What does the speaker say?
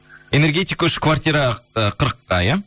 энергентик үш квартира і қырыққа иә